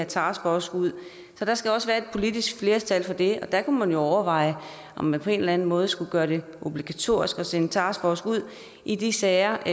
taskforcen ud så der skal også være et politisk flertal for det der kunne man jo overveje om man på en eller anden måde skulle gøre det obligatorisk at sende taskforcen ud i de sager og